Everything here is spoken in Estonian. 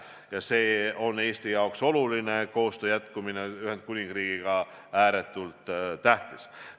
Ja see on Eestile oluline, jätkuv koostöö Ühendkuningriigiga on ääretult tähtis.